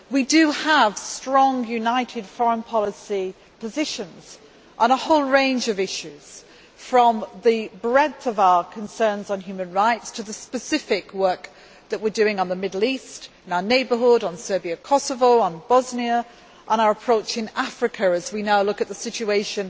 We do have strong united foreign policy positions on a whole range of issues, from the breadth of our concerns on human rights to the specific work that we are doing on the Middle East, in our neighbourhood, on Serbia Kosovo, on Bosnia, or in our approach in Africa, where we now look at the situation